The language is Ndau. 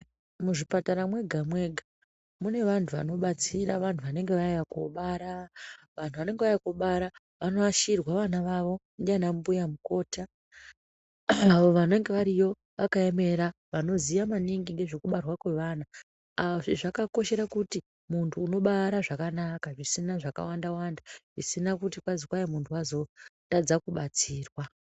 Muzvipatara mwega-mwega mune vantu vanobatsira vantu vanenge vauya kuobara. Vantu vanenge vauya koobara, vanoashirwa vana vavo ndianambuya mukota avo vanenge variyo vakaemera, vanoziya maningi ngezvekubarwa kwevana. Azvi zvakakoshera kuti muntu unobara zvakanaka, zvisina zvakawanda-wanda, zvisina kuti kwazi kwai muntu wazotadza kubatsirwa.